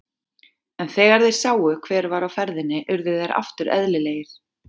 En þegar þeir sáu hver var á ferðinni urðu þeir aftur eðlilegir.